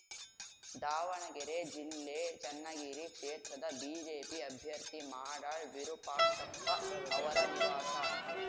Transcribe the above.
ದಾವಣಗೆರೆ ಜಿಲ್ಲೆ ಚನ್ನಗಿರಿ ಕ್ಷೇತ್ರದ ಬಿಜೆಪಿ ಅಭ್ಯರ್ಥಿ ಮಾಡಾಳ್‌ ವಿರುಪಾಕ್ಷಪ್ಪ ಅವರ ನಿವಾಸ